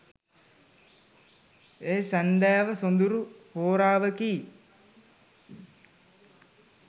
ඒ සැන්දෑව සොඳුරු හෝරාවකි